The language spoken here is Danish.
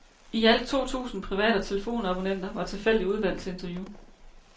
I alt to tusinde private telefonabonnenter var tilfældigt udvalgt til interview.